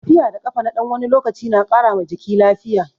Tafiya da kafa na ɗan wani lokaci na ƙara ma jiki lafiya.